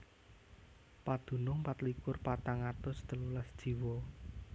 Padunung patlikur patang atus telulas jiwa